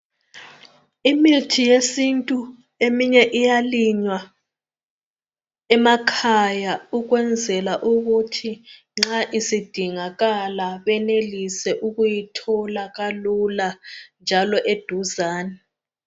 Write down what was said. Imithi yesintu eminye iyalinywa emakhaya ukwenzela ukuthi nxa isidingakala benelise ukuyithola kalula njalo eduzane.